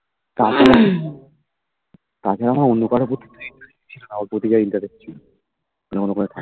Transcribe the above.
তাছাড়া আমার অন্য কারোর প্রতি ওতো interest ছিল না ওর প্রতি যা interest ছিল